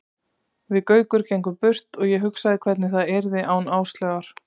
Við Gaukur gengum burt og ég hugsaði hvernig það yrði án Áslaugar.